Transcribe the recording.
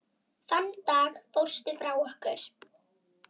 Þann dag fórstu frá okkur.